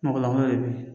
Mɔgɔlankolon de bɛ yen